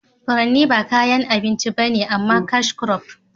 furanni ba kayan abinci ba ne amma cashcrop